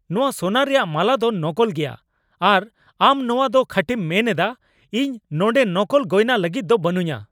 ᱱᱚᱣᱟ ᱥᱚᱱᱟ ᱨᱮᱭᱟᱜ ᱢᱟᱞᱟ ᱫᱚ ᱱᱚᱠᱚᱞ ᱜᱮᱭᱟ ᱟᱨ ᱟᱢ ᱱᱚᱣᱟ ᱫᱚ ᱠᱷᱟᱹᱴᱤᱢ ᱢᱮᱱ ᱮᱫᱟ ? ᱤᱧ ᱱᱚᱰᱮᱸ ᱱᱚᱠᱚᱞ ᱜᱚᱭᱱᱟ ᱞᱟᱹᱜᱤᱫ ᱫᱚ ᱵᱟᱹᱱᱩᱧᱟ !